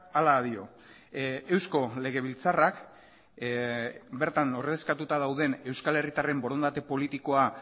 hala dio eusko legebiltzarrak bertan ordezkatuta dauden euskal herritarren borondate politikoa